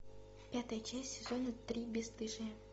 пятая часть сезона три бесстыжие